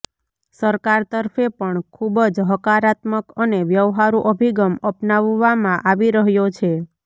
સરકાર તરફે પણ ખૂબ જ હકારાત્મક અને વ્યવહારુ અભિગમ અપનાવવામાં આવી રહ્યો છે